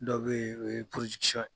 Do bɛ ye, o ye